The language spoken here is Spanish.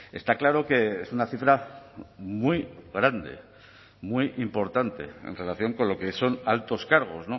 está claro que es una cifra muy grande muy importante en relación con lo que son altos cargos